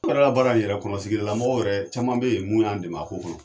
baara in yɛrɛ kɔnɔsigi la mɔgɔw wɛrɛ caman be yen mun y'an dɛmɛ a ko kɔnɔ.